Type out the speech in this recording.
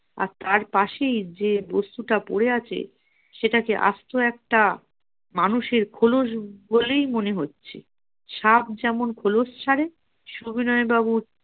আর তার পাশেই যে বস্তুটা পড়ে আছে সেটাকে আস্ত একটা মানুষের খোলস বলেই মনে হচ্ছে সাপ যেমন খোলস ছাড়ে